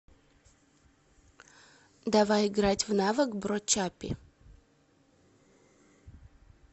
давай играть в навык бро чаппи